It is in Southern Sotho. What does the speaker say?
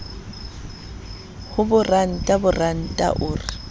ho boranta boranta o re